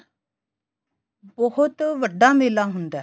ਬਹੁਤ ਵੱਡਾ ਮੇਲਾ ਹੁੰਦਾ